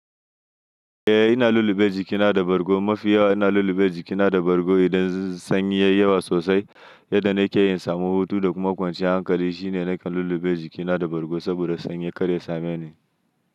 Eh ina lulluɓe jikina da bargo. Mafiyawa ina lulluɓe jikina da bargo idan sanyi yayi yawa sosai. Yadda nakeyi in samu hutu da kuma kwanciya hankali shine nakan lulluɓe jikina da bargo saboda sanyi karya same ni.